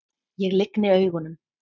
Ég lygni augunum.